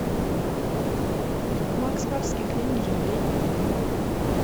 макс барских лей не жалей